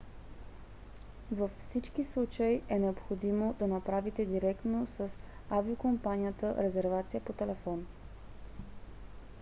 във всички случаи е необходимо да направите директно с авиокомпанията резервация по телефон